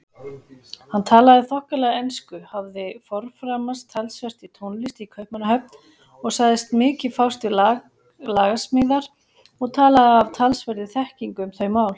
Hann talaði þokkalega ensku, hafði forframast talsvert í tónlist í Kaupmannahöfn og sagðist mikið fást við lagasmíðar og talaði af talsverðri þekkingu um þau mál.